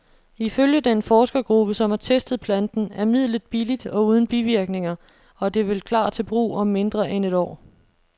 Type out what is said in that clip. Ifølge den forskergruppe, som har testet planten, er midlet billigt og uden bivirkninger, og det vil klar til brug om mindre end et år.